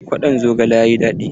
Kwaɗon zogalen yayi daɗi.